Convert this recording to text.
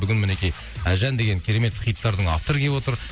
бүгін мінекей әлжан деген керемет хиттардың авторы келіп отыр